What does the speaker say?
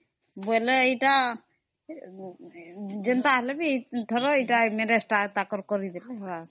ବୋଇଲେ ଏଟା ଅମ୍ଏଇ marriage ତା ଭଲରେ ତା କରିବେ ଏଟା